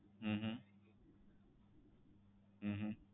હમ હમ